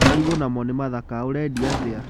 Marigũ namo nĩ mathaka, ũrendia atĩa?